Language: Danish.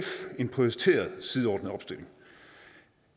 en prioriteret sideordnet opstilling